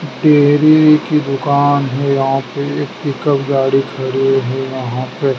Dairy की दुकान है यहाँ पे एक पिकअप गाड़ी खड़ी है यहाँ पे।